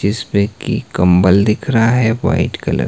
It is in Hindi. जिसपे की कंबल दिख रहा है व्हाइट कलर --